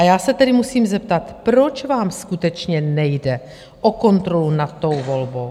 A já se tedy musím zeptat: Proč vám skutečně nejde o kontrolu nad tou volbou?